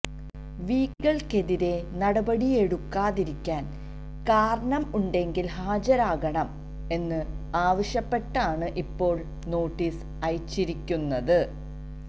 വീക്കിലിക്കെതിരെ നടപെടിയെടുക്കാതിരിക്കാൻ കാരണം ഉണ്ടെങ്കിൽ ഹാജരാക്കണം എന്ന് ആവശ്യപ്പെട്ടാണ് ഇപ്പോള് നോട്ടീസ് അയച്ചിരിക്കുന്നത്